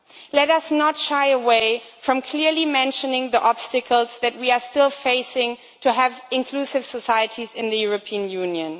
Let us not shy away from clearly mentioning the obstacles that we are still facing to have inclusive societies in the European Union.